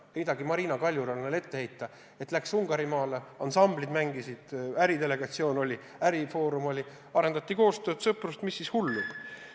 Heita Marina Kaljurannale ette, et ta läks Ungarimaale, ansamblid mängisid, äridelegatsioon oli, ärifoorum oli, arendati koostööd ja sõprust – mis sellest siis hullu?